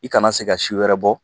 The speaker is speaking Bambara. I kana sse ka si wɛrɛ bɔ.